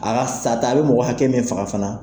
A ka sata , a bɛ mɔgɔ hakɛ min faga fana